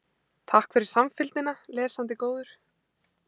Takk fyrir samfylgdina, lesandi góður.